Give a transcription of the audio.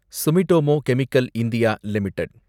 Sumitomo Chemical India limited